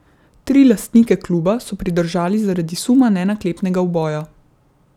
Tri lastnike kluba so pridržali zaradi suma nenaklepnega uboja.